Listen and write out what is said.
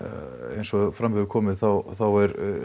eins og fram hefur komið þá þá